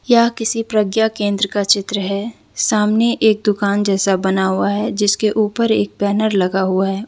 यह किसी प्रज्ञा केंद्र का चित्र है सामने एक दुकान जैसा बना हुआ है जिसके ऊपर एक बैनर लगा हुआ है।